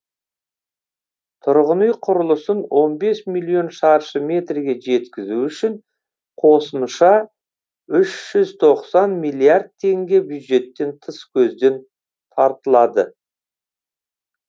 тұрғын үй құрылысын он бес миллион шаршы метрге жеткізу үшін қосымша үш жүз тоқсан миллиард теңге бюджеттен тыс көзден тартылады